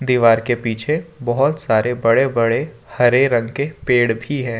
दीवार के पीछे बहुत सारे बड़े बड़े हरे रंग के पेड़ भी है।